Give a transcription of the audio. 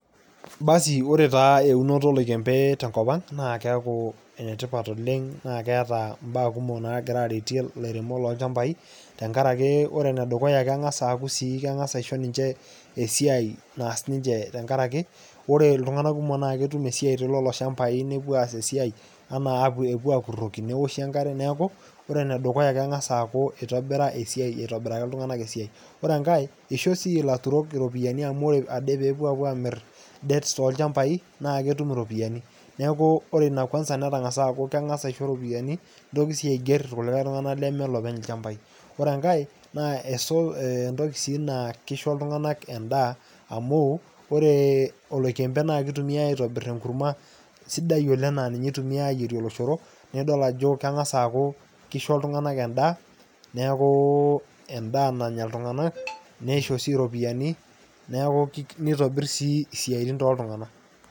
Basi, ore ta eunoto oloikembe te nkop ang, naa keaku enetipat oleng naa keeta imbaa kumok oleng nagira aretie ilaremok loolchambai, tenkarake ore enedukuya keng'as aaku sii keng'as aisho ninche esiai naas ninche tenkarake ore iltung'ana kumok naa ketum esiai tolelo shambai newuo aas esiai anaa ewuo akuroki neoshi enkare neaku neakure, ore enedukuya eng'as aaku eitobira esiai aitobiraki iltung'anak esiai. Ore enkai, eisho sii ilaturok iropiani amu ore ade ewuo aamir dets tolchambai, neaku etum iropiani. Neaku ore ina kwanza netang'asa aaku keng'as aisho iropiani neitoki aiger ilkulie tung'ana leme loopeny lchambai. Ore engai, naa entoki sii naa keisho iltung'ana endaa amu ore oloikembe naa keitumiai aitobir enkurma sidai oleng naa ninye eitumiai aitobir oloshoro nidol ajo keng'as aaku keisho iltung'ana endaa neaku endaa nanya iltung'ana, neisho sii iropiani, neaku neitobir sii isiaitin tooltung'ana.